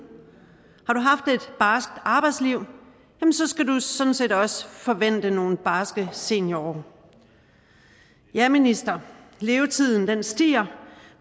har arbejdsliv skal du sådan set også forvente nogle barske seniorår ja minister levetiden stiger